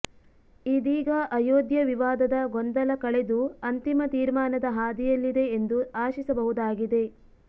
ಇದೀಗ ಅಯೋಧ್ಯಾ ವಿವಾದದ ಗೊಂದಲ ಕಳೆದು ಅಂತಿಮ ತೀರ್ಮಾನದ ಹಾದಿಯಲ್ಲಿದೆ ಎಂದು ಆಶಿಸಬಹುದಾಗಿದೆ